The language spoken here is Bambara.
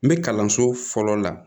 N bɛ kalanso fɔlɔ la